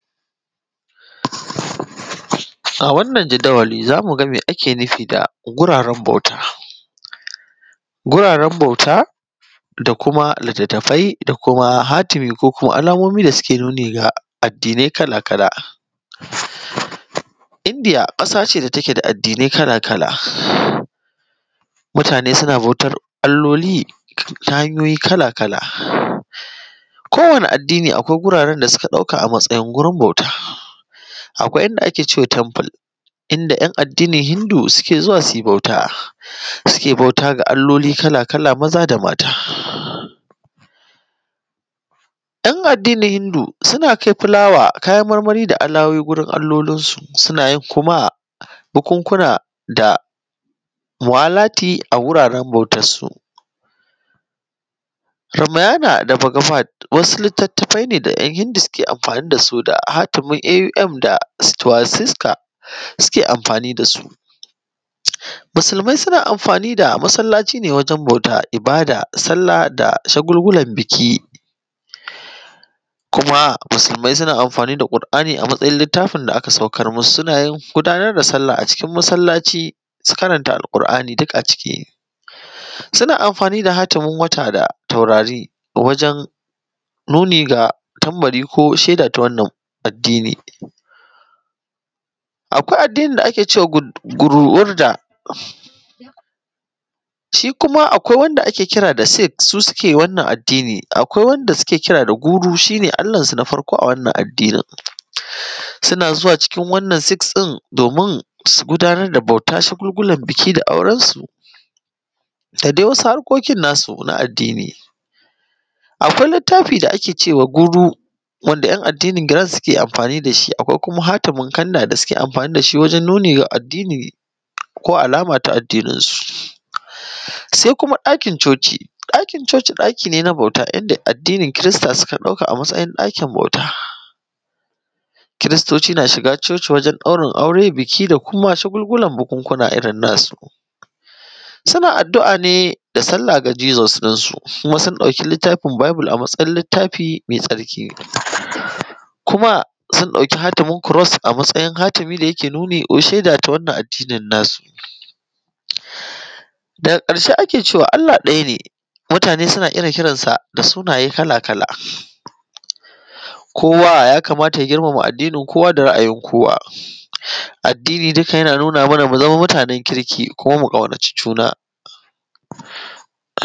A wannan jadawali za mu ga me ake nufi da guraren bauta. Guraren bauta, da kuma littatafai, da kuma hatimi ko kuma alamomi da suke nuni da addinai kala-kala. Indiya ƙasa ce da take da addinai kala-kala. Mutane suna bautar alloli ta hanyoyi kala-kala. Kowane addini akwai guraren da suka ɗauka a matsayin gurin bauta. Akwai inda ake ce wa Temple, inda 'yan addinin Hindu suke zuwa su yi bauta, suke bauta ga alloli kala-kala maza da mata. 'Yan addinin Hindu, suna kai fulawa, kayan marmari da alawowi gurin allolinsu, suna yin kuma bukunkuna da muwalati a wuraren bautarsu. Ramayana da Bhagavad, wasu littattafai ne da 'yan Hindu suke amfani da su da hatimin Aum da swastika, suke amfani da su. Musulmai suna amfani da masallaci ne wajen bauta, ibada, sallah, da shagulgulan biki. Kuma musulmai suna amfani da Ƙur'ani a matsayin littafin da aka saukar musu, suna yin gudanar da sallah a cikin masallaci su karanta Alƙur'ani duk a ciki. Suna amfani da hatimin wata da taurari wajen nuni ga tambari ko shaida ta wannan addini. Akwai addinin da ake cewa Guruwurda. Shi kuma akwai wanda ake kira da Siks, su suke wannan addini. Akwai wanda suke kira da guru, shi ne allansu na farko a wannan addinin. Suna zuwa cikin wannan siks ɗin domin su gudanar da bauta, shagulgulan biki da aurensu, da dai wasu harkokin nasu na addini. Akwai littafi da ake cewa guru, wanda 'yan addinin girin suke amfani da shi. Akwai kuma hatimin kanda da suke amfani da shi wajen nuni ga addini ko alama ta addininsu. Sai kuma ɗakin Chochi. Ɗakin Chochi ɗaki ne na bauta yadda addinin Kirista suka ɗauka a matsayin ɗakin bauta. Kiristoci na shiga Chochi wajen ɗaurin aure, biki da kuma shagulgulan bukunkuna irin nasu. Suna addu'a ne da sallah ga Jesus ɗinsu, kuma sun ɗauki littafin bible a matsayin littafi mai tsarki, kuma sun ɗauki hatimin kuros a matsayin hatimi ne yake nuni ko sheda ta wannan addinin nasu. Daga ƙarshe ake cewa Allah ɗaya ne, mutane suna irin kiran sa da sunaye kala-kala. Kowa ya kamata ya girmama addinin kowa, da ra'ayin kowa. Addini duka yana nuna mana mu zama mutanen kirki, kuma mu ƙaunaci juna.